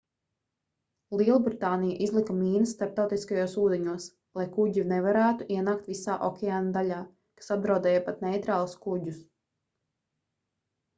lielbritānija izlika mīnas starptautiskajos ūdeņos lai kuģi nevarētu ienākt visā okeāna daļā kas apdraudēja pat neitrālus kuģus